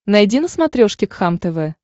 найди на смотрешке кхлм тв